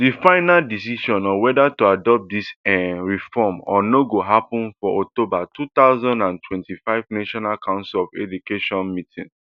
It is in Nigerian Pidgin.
di final decision on weda to adopt dis um reform or not go happun for october two thousand and twenty-five national council on education meeting